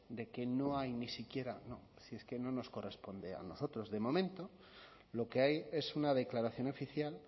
de que no hay ni siquiera no si es que no nos corresponde a nosotros de momento lo que hay es una declaración oficial